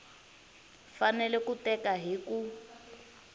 fanele ku teka hi ku